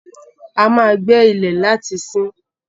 A ma gbé ilẹ̀ láti siín.